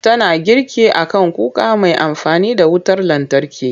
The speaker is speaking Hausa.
Tana girki a kan kuka mai amfani da wutar lantarki.